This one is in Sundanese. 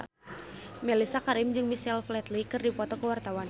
Mellisa Karim jeung Michael Flatley keur dipoto ku wartawan